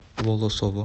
волосово